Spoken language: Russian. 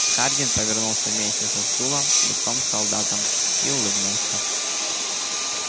хардин повернулся вместе со стулом лицом к солдатам и улыбнулся